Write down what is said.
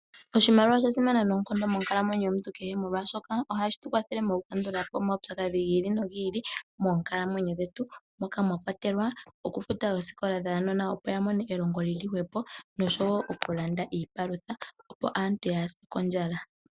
Oshimaliwa osha simana noonkondo monkalamwenyo yomuntu kehe molwashoka ohashi ti kwathele moku kandulapo oompumbwe giili nogiili moonkalamwenyo dhetu. Moka mwakwatelwa oku futa oosikola dhuunona opo ya mone elongo lili hwepo. Noshowo oku landa iipalutha opo aantu yaase kondjala.